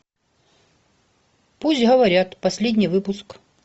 пусть говорят последний выпуск